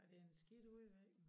Og det en skidt udvikling